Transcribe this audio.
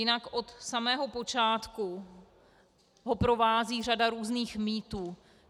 Jinak od samého počátku ho provází řada různých mýtů.